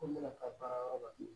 Ko n bɛna taa baarayɔrɔ la